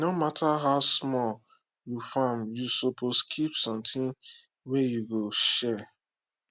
e no matter how small you farm you suppose keep something wey you go share